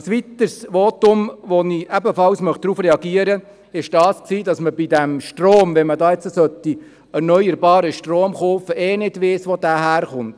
Ein weiteres Votum, auf das ich reagieren möchte, ist das, dass man beim Kauf von erneuerbarem Strom nicht wisse, wo dieser herkäme.